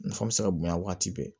Nafa bɛ se ka bonya waati bɛɛ